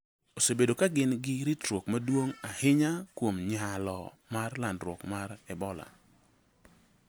osebedo ka gin gi ritruok maduong’ ahinya kuom nyalo mar landruok mar Ebola